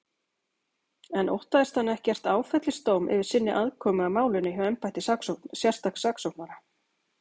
En óttast hann ekkert áfellisdóm yfir sinni aðkomu að málinu hjá embætti sérstaks saksóknara?